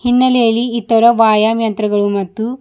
ಹಿನ್ನೆಲೆಯಲ್ಲಿ ಈ ತರ ವ್ಯಾಯಾಮ್ ಯಂತ್ರಗಳು ಮತ್ತು--